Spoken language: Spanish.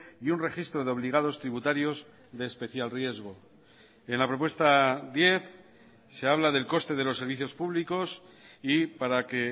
y un registro de obligados tributarios de especial riesgo en la propuesta diez se habla del coste de los servicios públicos y para que